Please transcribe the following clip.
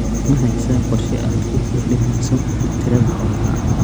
Ma haysaa qorshe aad ku kordhinayso tirada xoolaha?